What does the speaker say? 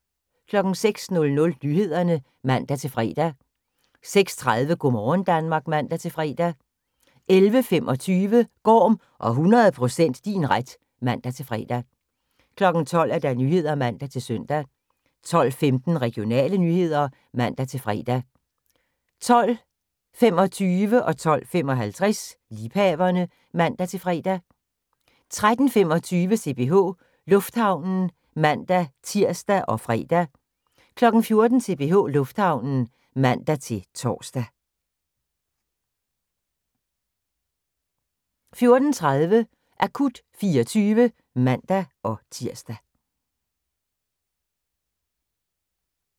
06:00: Nyhederne (man-fre) 06:30: Go' morgen Danmark (man-fre) 11:25: Gorm og 100 % din ret (man-fre) 12:00: Nyhederne (man-søn) 12:15: Regionale nyheder (man-fre) 12:25: Liebhaverne (man-fre) 12:55: Liebhaverne (man-fre) 13:25: CPH Lufthavnen (man-tir og fre) 14:00: CPH Lufthavnen (man-tor) 14:30: Akut 24 (man-tir)